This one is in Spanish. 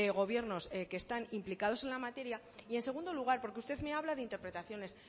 gobiernos que están implicados en la materia y en segundo lugar porque usted me habla de interpretaciones